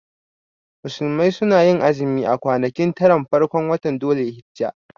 Musulmai sunayin azumi a kwanaki taran farkon watan dhul hijja